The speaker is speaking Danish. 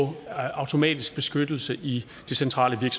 automatisk beskyttelse i det centrale